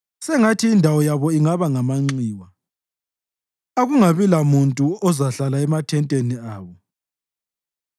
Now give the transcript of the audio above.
Sengathi indawo yabo ingaba ngamanxiwa; akungabi lamuntu ozahlala emathenteni abo.